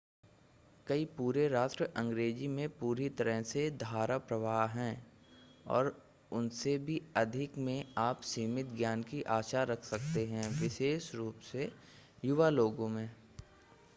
कई पूरे राष्ट्र अंग्रेजी में पूरी तरह से धाराप्रवाह हैं और उनसे भी अधिक में आप सीमित ज्ञान की आशा रख सकते हैं विशेष रूप से युवा लोगों में